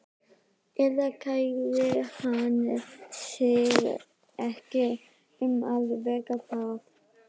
Eða kærði hann sig ekki um að vera það?